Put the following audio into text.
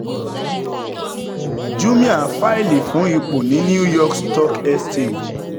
jumia faili fún ipo ní new york stock exchange